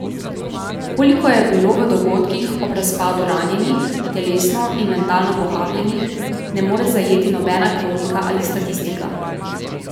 Koliko je bilo v dogodkih ob razpadu ranjenih, telesno in mentalno pohabljenih, ne more zajeti nobena kronika ali statistika.